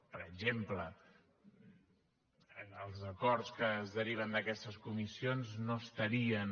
per exemple els acords que es deriven d’aquestes comissions no estarien